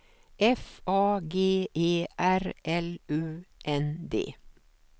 F A G E R L U N D